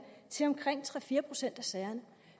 til omkring tre fire procent af sagerne